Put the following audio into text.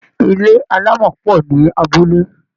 ilé alamo po ni abúlé.